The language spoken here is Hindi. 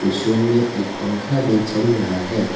इस रूम में एक पंखा भी चल रहा है।